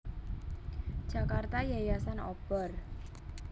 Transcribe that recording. Jakarta Yayasan Obor